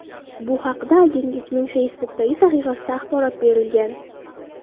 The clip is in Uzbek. Bu haqda agentlikning Facebook’dagi sahifasida axborot berilgan .